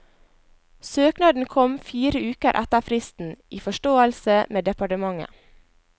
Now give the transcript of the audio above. Søknaden kom fire uker etter fristen, i forståelse med departementet.